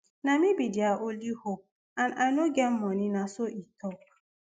na me be dia only hope and i no get money na so e tok